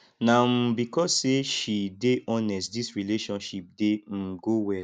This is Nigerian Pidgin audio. na um because sey she dey honest dis relationship dey um go well